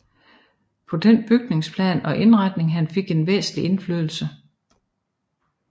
På den bygnings plan og indretning han fik en væsentlig indflydelse